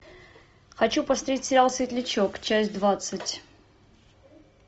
хочу посмотреть сериал светлячок часть двадцать